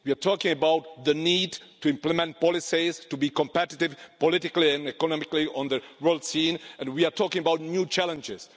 We are talking about the need to implement policies to be competitive politically and economically on the world scene, and we are talking about new challenges.